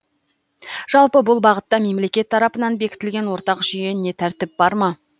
жалпы бұл бағытта мемлекет тарапынан бекітілген ортақ жүйе не тәртіп бар ма